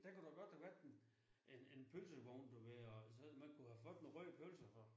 Der kunne da godt have været en en en pølsevogn du ved og så man kunne have fået en rød pølse og sådan